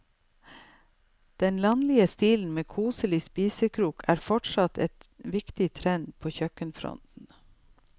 Den landlige stilen med koselig spisekrok er fortsatt en viktig trend på kjøkkenfronten.